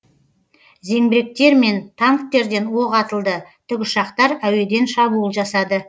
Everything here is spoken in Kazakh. зеңбіректер мен танктерден оқ атылды тікұшақтар әуеден шабуыл жасады